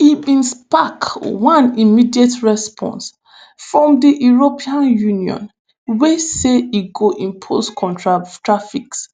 e bin spark one immediate response from di european union wey say e go impose counter tariffs